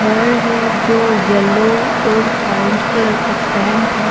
घर है जो येल्लो और ऑरेंज कलर का पेंट है।